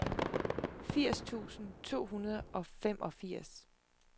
firs tusind to hundrede og femogfirs